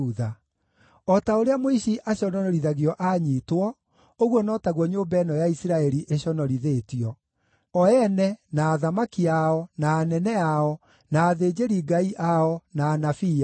“O ta ũrĩa mũici aconorithagio aanyiitwo, ũguo no taguo nyũmba ĩno ya Isiraeli ĩconorithĩtio: o ene, na athamaki ao, na anene ao, na athĩnjĩri-Ngai ao, na anabii ao.